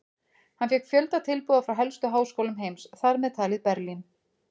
Hann fékk fjölda tilboða frá helstu háskólum heims, þar með talið Berlín.